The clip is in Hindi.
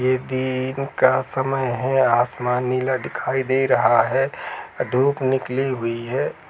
ये दिन का समय है। आसमान नीला दिखाई दे रहा है। धुप निकली हुयी है।